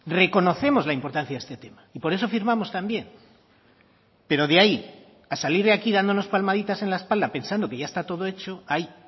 reconocemos la importancia de este tema y por eso firmamos también pero de ahí a salir de aquí dándonos palmaditas en la espalda pensando que ya está todo hecho hay